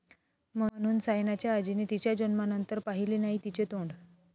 ...म्हणून सायनाच्या आजीने तिच्या जन्मानंतर पाहिले नाही तिचे तोंड